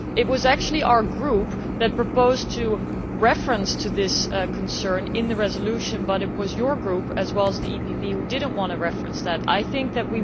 It was actually our group that proposed to refer to this concern in the resolution, but it was your group, as well as the EPP, that did not want to refer to that.